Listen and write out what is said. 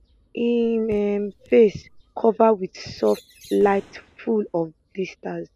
im um face cover wit soft light full of blisters